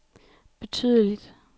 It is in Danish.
betydeligt